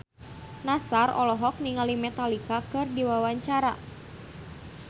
Nassar olohok ningali Metallica keur diwawancara